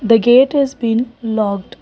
the gate is been locked.